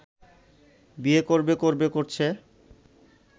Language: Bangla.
বিয়ে করবে করবে করছে